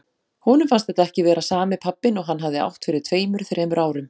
Honum fannst þetta ekki vera sami pabbinn og hann hafði átt fyrir tveimur, þremur árum.